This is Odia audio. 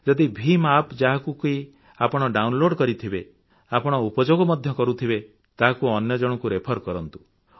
ଯଦି ଭିମ୍ App ଯାହାକୁ କି ଆପଣ ଡାଉନଲୋଡ୍ କରିଥିବେ ଆପଣ ଉପଯୋଗ ମଧ୍ୟ କରୁଥିବେ ତାହାକୁ ଅନ୍ୟ ଜଣକୁ ରେଫର କରନ୍ତୁ